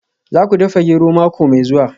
Za ku dafa gero mako mai zuwa